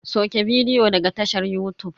Sauke bidiyo daga tashar yutub.